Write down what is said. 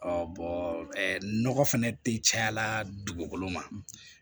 nɔgɔ fɛnɛ tɛ caya la dugukolo ma